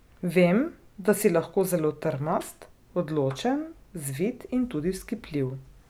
Vem, da si lahko zelo trmast, odločen, zvit in tudi vzkipljiv.